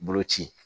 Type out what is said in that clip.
Bolo ci